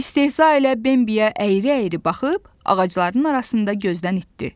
İstehza ilə Bembiya əyri-əyri baxıb ağacların arasında gözdən itdi.